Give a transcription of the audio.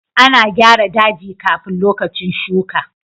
A na gyara daji kafin lokacin shuka.